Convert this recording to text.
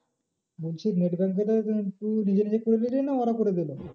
বলছি net banking টা তুই নিজে নিজে করে নিলি না ওরা করে দিলো?